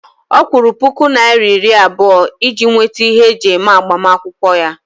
Ọ kwụrụ puku naira iri abụọ iji nweta ihe eji eme agbamakwụkwọ ya